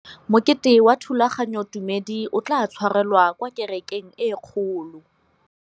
Mokete wa thulaganyôtumêdi o tla tshwarelwa kwa kerekeng e kgolo.